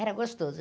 Era gostoso.